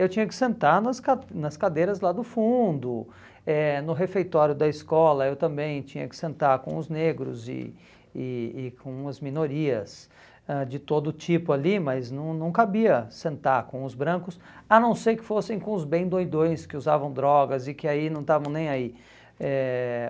Eu tinha que sentar nas ca nas cadeiras lá do fundo, eh no refeitório da escola eu também tinha que sentar com os negros e e e com as minorias ãh de todo tipo ali, mas não não cabia sentar com os brancos, a não ser que fossem com os bem doidões que usavam drogas e que aí não estavam nem aí. Eh